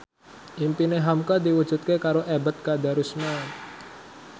impine hamka diwujudke karo Ebet Kadarusman